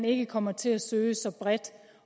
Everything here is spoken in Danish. ikke kommer til at søge så bredt